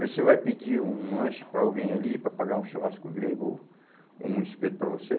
Vê se ele vai pedir um um lanche para alguém ali, para pagar um churrasco grego ou um espeto para você.